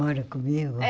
Mora comigo? É